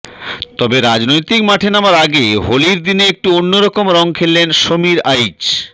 তবে রাজনৈতিক মাঠে নামার আগে হোলির দিনে একটু অন্যরকম রঙ খেললেন সমীর আইচ